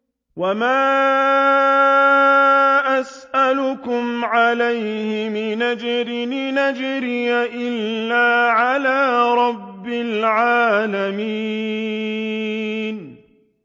وَمَا أَسْأَلُكُمْ عَلَيْهِ مِنْ أَجْرٍ ۖ إِنْ أَجْرِيَ إِلَّا عَلَىٰ رَبِّ الْعَالَمِينَ